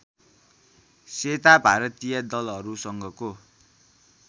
सेता भारतीय दलहरुसँगको